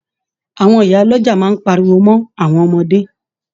Àwọn ìyá ọlọ́jà máa páríwó mọ awọn ọmọde.